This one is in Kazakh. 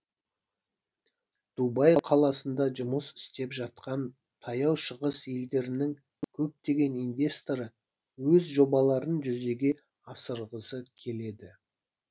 дубай қаласында жұмыс істеп жатқан таяу шығыс елдерінің көптеген инвесторы өз жобаларын жүзеге асырғысы келеді